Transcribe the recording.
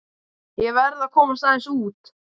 Ég verð að komast aðeins út.